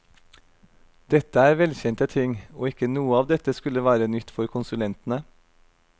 Dette er velkjente ting, og ikke noe av dette skulle være nytt for konsulentene.